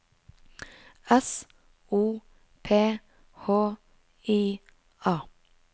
S O P H I A